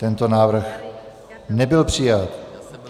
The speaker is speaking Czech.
Tento návrh nebyl přijat.